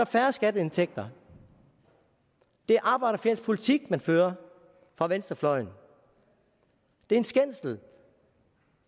færre skatteindtægter det er arbejderfjendsk politik man fører på venstrefløjen det er en skændsel